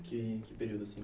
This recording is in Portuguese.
Que que período assim?